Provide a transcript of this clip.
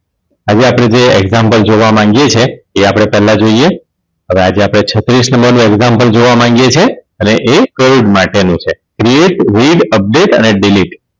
હવે આપણે જે Example જોવા માગીએ છીએ તે આપણે પેહલા જોઈએ હવે આજે આપણે છત્રીસ નંબર નું Example જોવા માંગીએ છીએ હવે એ કોવીડ માટેનું છે Update અને Delete